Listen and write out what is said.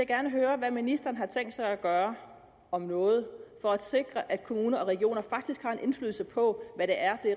gerne høre hvad ministeren har tænkt sig at gøre om noget for at sikre at kommuner og regioner faktisk har en indflydelse på hvad det er